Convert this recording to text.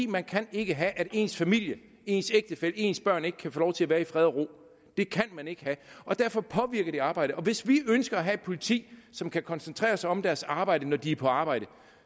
man kan ikke have at ens familie ens ægtefælle ens børn ikke kan få lov til at være i fred og ro det kan man ikke have og derfor påvirker det arbejdet hvis vi ønsker at have et politi som kan koncentrere sig om deres arbejde når de er på arbejde